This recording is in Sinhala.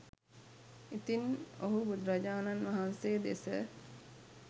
ඉතින් ඔහු බුදුරජාණන් වහන්සේ දෙස